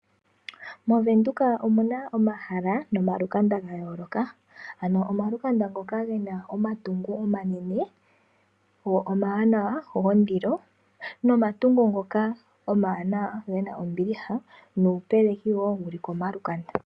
Movenduka omuna omahala, nomalukanda ga yooloka. Ano omalukanda ngoka gena omatungo omanene, go omawanawa gondilo, nomatungo ngoka omawanawa gena ombiliha, nuupeleki wo wu li komalukanda.